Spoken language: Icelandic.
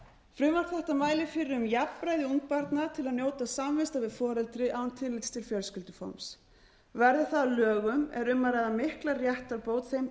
frumvarp þetta mælir fyrir um jafnræði ungbarna til að njóta samvista við foreldri án tillits til fjölskylduforms verði það að lögum er um að ræða mikla réttarbót þeim